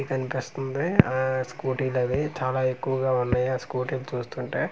ఇతనుకి ఆ స్కూటీలు అవి చాలా ఎక్కువగా ఉన్నాయి ఆ స్కూటీలు చూస్తుంటే.